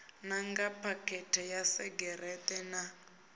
nanga phakhethe ya segereṱe na